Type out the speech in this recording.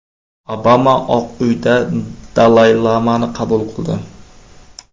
Obama Oq Uyda Dalay-lamani qabul qildi.